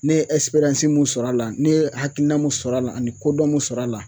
Ne ye mun sɔrɔ a la ne ye hakilina mun sɔrɔ a la ani kodɔn mun sɔrɔ a la